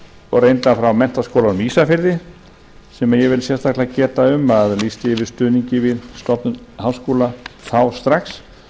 og reyndar frá menntaskólanum á ísafirði sem ég vil sérstaklega geta um að lýsti yfir stuðningi við stofnun háskóla þá strax